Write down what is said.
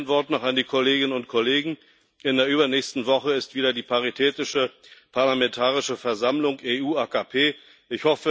Ein Wort noch an die Kolleginnen und Kollegen In der übernächsten Woche ist wieder die Paritätische Parlamentarische Versammlung AKP EU.